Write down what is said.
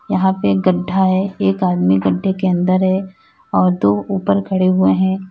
यहां पे एक गढ्ढा है एक आदमी गढ्ढे के अंदर है और दो ऊपर खड़े हुए हैं।